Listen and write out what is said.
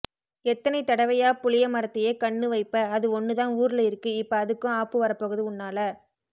எத்தனை தடவையா புளிய மரத்தையே கண்ணு வைப்ப அது ஒன்னுதான் ஊரில இருக்கு இப்ப அதுக்கும் ஆப்பு வரப்போகுது உன்னால